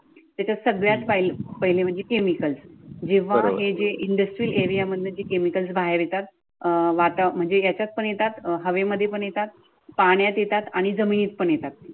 ते सगळं पहिलं म्हणजे केमिकल. जेव्हा हे जे industrial area मध्य केमिकल बाहेर येतात. अह अं वाता म्हणजे याच्यात पण येतात, हवेमध्ये पण येतात, पाण्यात येतात आणि जमिनीत पण येतात.